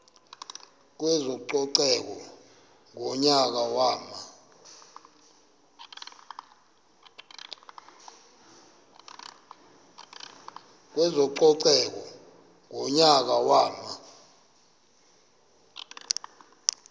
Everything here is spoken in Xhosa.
kwezococeko ngonyaka wama